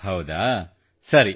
ಹೌದಾ ಸರಿ